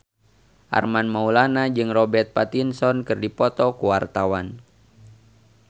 Armand Maulana jeung Robert Pattinson keur dipoto ku wartawan